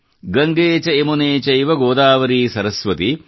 ಗಂಗೇ ಚ ಯಮುನೇ ಚೈವ ಗೋದಾವರೀ ಸರಸ್ವತಿ